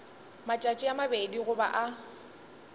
matšatši a mabedi goba a